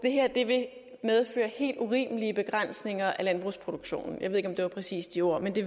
at medføre helt urimelige begrænsninger i landbrugsproduktionen jeg ved ikke om det var præcis de ord men det